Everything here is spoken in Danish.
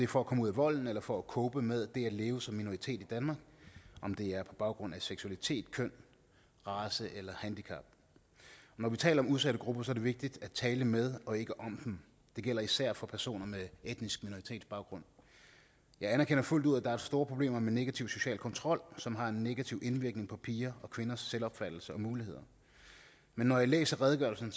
for at komme ud af volden eller for at cope med det at leve som minoritet i danmark om det er på baggrund af seksualitet køn race eller handicap og når vi taler om udsatte grupper er det vigtigt at tale med og ikke om dem det gælder især for personer med etnisk minoritetsbaggrund jeg anerkender fuldt ud at der er store problemer med negativ social kontrol som har en negativ indvirkning på piger og kvinders selvopfattelse og muligheder men når jeg læser redegørelsen